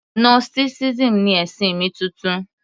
Gnosticism ni ẹ̀sìn mi titun